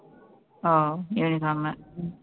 ஓ uniform உ